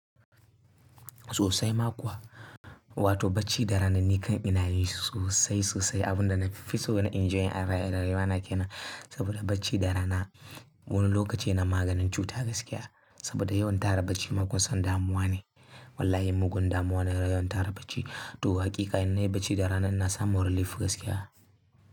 Sosai ma kuwa, wato bacci da ranan ni kan inayi sosai sosai. Abunda nafi so na enjoy a rayuwa na kenan. Saboda bacci da rana wani lokaci yana maganin cuta gaskiya. Saboda yawan tara bacci mugun son damuwa ne. Wallahi mugun damuwa ne yawan tara bacci. To hakika in nayi bacci da rana ina samu relief gaskiya.